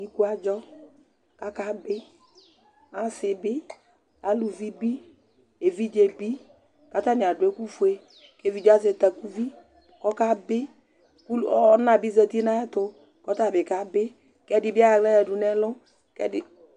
Iku adzɔ kʋ akabɩ, asɩ bɩ, aluvi bɩ, evidze bɩ kʋ atanɩ adʋ ɛkʋfue kʋ evidze yɛ azɛ takuvi kʋ ɔkabɩ kʋ ul ɔ ɔna bɩ zati nʋ ayɛtʋ kʋ ɔta bɩ kabɩ kʋ ɛdɩ bɩ ayɔ aɣla yǝdu nʋ ɛlʋ kʋ ɛdɩ